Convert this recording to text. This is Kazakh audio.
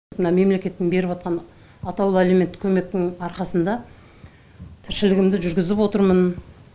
мына мемлекеттің беріп отырған атаулы әлеуметтік көмектің арқасында тіршілігімді жүргізіп отырмын